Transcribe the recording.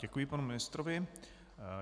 Děkuji panu ministrovi.